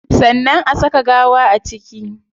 Sannan a saka gawa a ciki